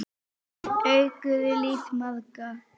Þeir auðguðu líf margra.